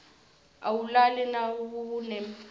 awulali nawunebhizinisi